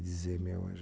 dizer, meu anjo.